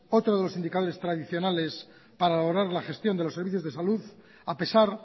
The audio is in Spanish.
otro de los indicadores tradicionales para valorar la gestión de los servicios de salud a pesar